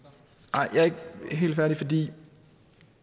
nej jeg er ikke helt færdig